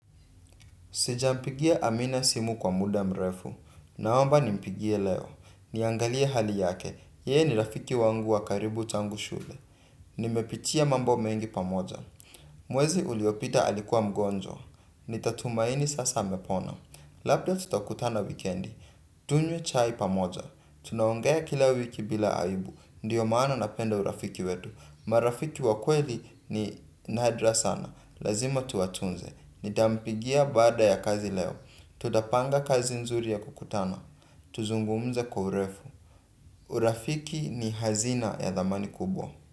Sijampigia amina simu kwa muda mrefu. Naomba nimpigie leo niangalie hali yake. Yee ni rafiki wangu wa karibu tangu shule. Nimepitia mambo mengi pamoja. Mwezi uliopita alikuwa mgonjwa. Nitatumaini sasa hamepona. Labda tutokutana wikendi. Tunye chai pamoja. Tunaongea kila wiki bila aibu. Ndiyo maana napenda urafiki wetu. Marafiki wa kweli ni nadra sana. Lazima tuwatunze. Nitampigia baada ya kazi leo. Tutapanga kazi nzuri ya kukutana tuzungumze kwa urefu urafiki ni hazina ya thamani kubwa.